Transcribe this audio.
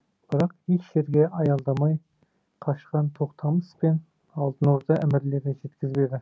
бірақ еш жерге аялдамай қашқан тоқтамыс пен алтын орда әмірлері жеткізбеді